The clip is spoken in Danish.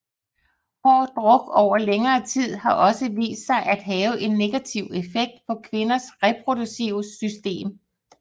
Hård druk over længere tid har også vist sig at have en negativ effekt på kvinders reproduktive system